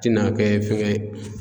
Tɛna kɛ fɛngɛ ye